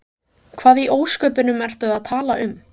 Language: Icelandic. Hvað í ósköpunum ertu að tala um?